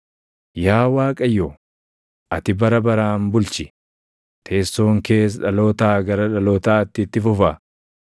Yaa Waaqayyo, ati bara baraan bulchi; teessoon kees dhalootaa gara dhalootaatti itti fufa.